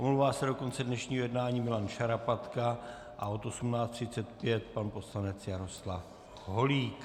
Omlouvá se do konce dnešního jednání Milan Šarapatka a od 18.35 pan poslanec Jaroslav Holík.